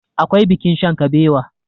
akwai bikin shankabewa